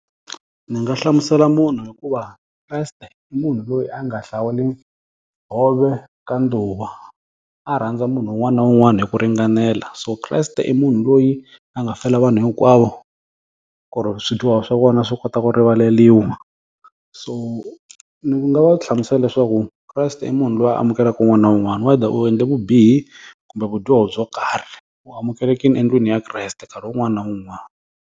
Ndzi nga hlamusela munhu hi ku va Kreste i munhu loyi a nga hlawuli hove ka ndhuwa. A rhandza munhu un'wana na un'wana hi ku ringanela. So Kreste i munhu loyi a nga fela vanhu hinkwavo, ku ri swidyoho swa vona swi kota ku rivaleriwa. So ni ku nga va hlamusela leswaku Kreste i munhu loyi a amukeleka un'wana na un'wana whether u endle vubihi kumbe vudyoho byo karhi, u amukelekile endlwini ya Kreste nkarhi wun'wana na wun'wana.